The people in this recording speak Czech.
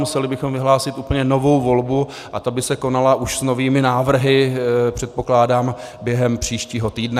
Museli bychom vyhlásil úplně novou volbu a ta by se konala už s novými návrhy, předpokládám, během příštího týdne.